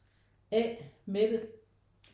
A Mette